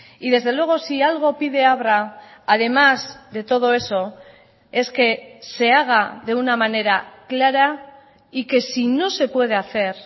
y desde luego si algo pide abra además de todo eso es que se haga de una manera clara y que si no se puede hacer